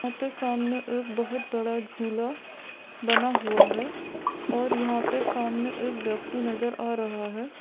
आपके सामने एक बहुत बड़ा झूला बना हुआ है और यहाँ पे सामने एक व्यक्ति नजर आ रहा है।